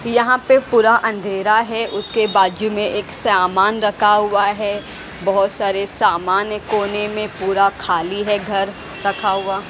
यहां पे पूरा अंधेरा है उसके बाजू में एक सामान रखा हुआ है बहुत सारे सामान है कोने में पूरा खाली है घर रखा हुआ।